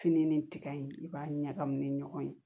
Fini ni tiga in i b'a ɲagami ni ɲɔgɔn ye